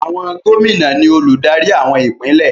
Àwọn gómìnà ni olùdarí àwọn ìpínlẹ̀.